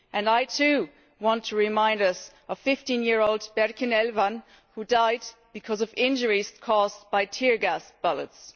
I too want to remind us of fifteen year old Berkin Elvan who died because of injuries caused by tear gas bullets.